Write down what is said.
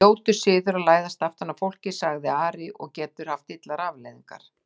Ljótur siður að læðast aftan að fólki, sagði Ari,-og getur haft illar afleiðingar!